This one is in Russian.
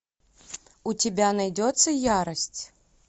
у тебя найдется ярость